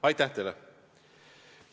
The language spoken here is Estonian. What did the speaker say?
Aitäh teile!